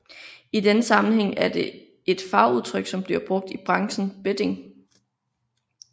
I denne sammenhæng er det fagudtryk som bliver brugt i branchen betting